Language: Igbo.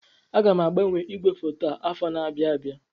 Aga m agbanwe ígwèfoto a afọ na-abịa abịa.